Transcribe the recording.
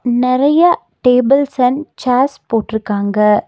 நெறையா tables and chairs போட்ருக்காங்க.